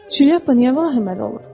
Şlyapa niyə vahiməli olub?